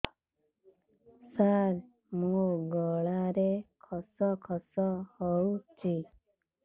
ସାର ମୋ ଗଳାରେ ଖସ ଖସ ହଉଚି